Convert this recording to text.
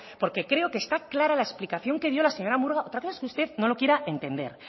porque creo que está clara la explicación que dio la señora murga otra cosa es que usted no lo quiera entender